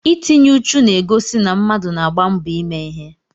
Itinye ùchù na-egosi na mmadụ na-agba mbọ ime ihe.